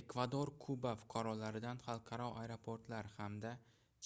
ekvador kuba fuqarolaridan xalqaro aeroportlar hamda